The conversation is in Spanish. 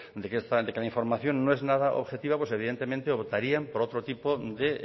de que la información no es nada objetiva pues evidentemente optarían por otro tipo de